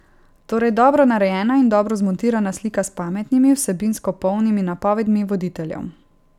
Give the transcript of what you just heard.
Torej dobro narejena in dobro zmontirana slika s pametnimi, vsebinsko polnimi napovedmi voditeljev.